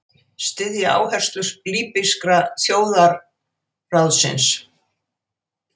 Styðja áherslur Líbíska þjóðarráðsins